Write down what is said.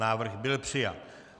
Návrh byl přijat.